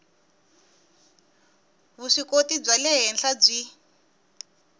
vuswikoti bya le henhla byi